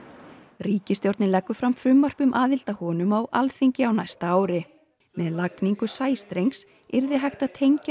ríkisstjórnin leggur fram frumvarp um aðild að honum á Alþingi á næsta ári með lagningu sæstrengs yrði hægt að tengja